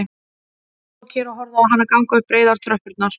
Hann stóð kyrr og horfði á hana ganga upp breiðar tröppurnar